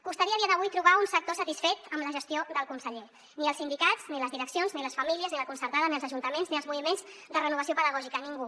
costaria a dia d’avui trobar un sector satisfet amb la gestió del conseller ni els sindicats ni les direccions ni les famílies ni la concertada ni els ajuntaments ni els moviments de renovació pedagògica ningú